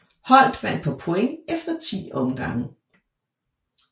Holdt vandt på point efter 10 omgange